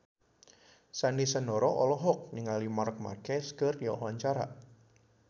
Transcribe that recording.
Sandy Sandoro olohok ningali Marc Marquez keur diwawancara